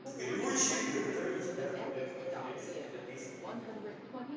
глючит и в итоге тебя оставляет в конференции хотя ты с неё выходишь